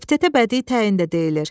Epitetə bədii təyin də deyilir.